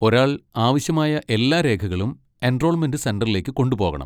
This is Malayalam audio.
ഒരാൾ ആവശ്യമായ എല്ലാ രേഖകളും എൻറോൾമെന്റ് സെന്ററിലേക്ക് കൊണ്ടുപോകണം.